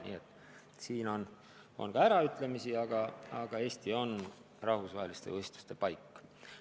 Nii et siin on olnud ka äraütlemisi, aga Eesti on rahvusvaheliste võistluste paik.